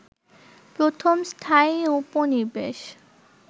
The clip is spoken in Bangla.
প্রথম স্থায়ী উপনিবেশ